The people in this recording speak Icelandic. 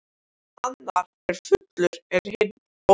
Annar er fullur en hinn ófullur.